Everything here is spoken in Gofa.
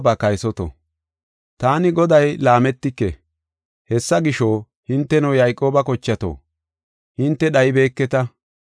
“Taani Goday laametike; hessa gisho, hinteno Yayqooba kochato, hinte dhaybeketa.